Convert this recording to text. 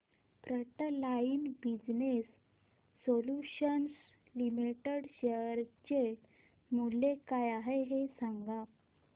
frontline business solutions limited share चे मूल्य काय आहे हे सांगा